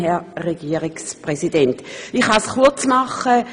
Ich kann mich kurz fassen: